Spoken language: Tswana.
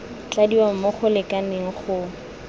tladiwa mo go lekaneng go